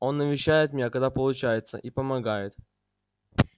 он навещает меня когда получается и помогает